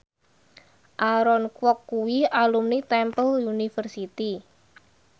Aaron Kwok kuwi alumni Temple University